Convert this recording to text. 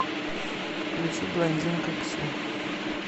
включи блондинка ксю